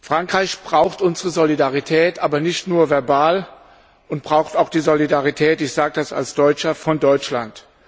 Frankreich braucht unsere Solidarität, aber nicht nur verbal, und braucht auch die Solidarität das sage ich als Deutscher von Deutschland.